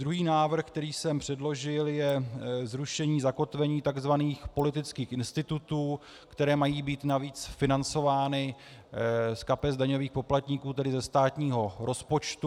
Druhý návrh, který jsem předložil, je zrušení zakotvení tzv. politických institutů, které mají být navíc financovány z kapes daňových poplatníků, tedy ze státního rozpočtu.